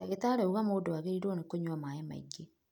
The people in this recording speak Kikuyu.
Dagĩtarĩ auga mũndũ agĩrĩirwo nĩ kũnywa maĩ maingĩ.